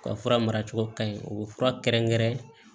U ka fura mara cogo ka ɲi u bɛ fura kɛrɛnkɛrɛn